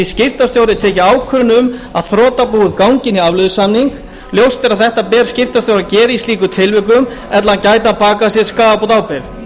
skiptastjóri tekið ákvörðun um að þrotabúið gangi inn í afleiðusamning ljóst er að það ber skiptastjóra að gera í slíkum tilvikum ella gæti hann bakað sér skaðabótaábyrgð